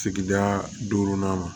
Sigida duurunan ma